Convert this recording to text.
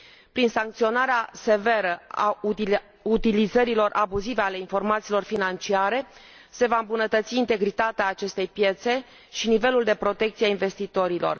Prin sancționarea severă a utilizărilor abuzive a informațiilor financiare se va îmbunătăți integritatea aceastei piețe și nivelul de protecție al investitorilor.